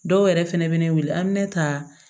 Dɔw yɛrɛ fɛnɛ bɛ ne wele an bɛ ne ta